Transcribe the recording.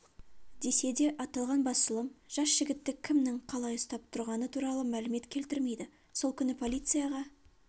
десе де аталған басылым жас жігітті кімнің қалай ұстап тұрғаны туралы мәлімет келтірмейді сол күні полицияға